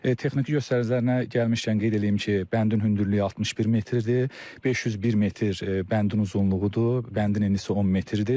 Texniki göstəricilərinə gəlmişkən qeyd eləyim ki, bəndin hündürlüyü 61 metrdir, 501 metr bəndin uzunluğudur, bəndin eni isə 10 metrdir.